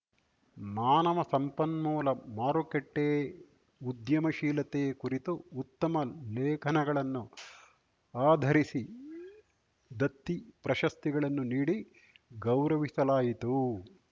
ಮಾನವ ಸಂಪನ್ಮೂಲ ಮಾರುಕಟ್ಟೆಉದ್ಯಮಶೀಲತೆ ಕುರಿತು ಉತ್ತಮ ಲೇಖನಗಳನ್ನು ಆಧರಿಸಿ ದತ್ತಿ ಪ್ರಶಸ್ತಿಗಳನ್ನು ನೀಡಿ ಗೌರವಿಸಲಾಯಿತು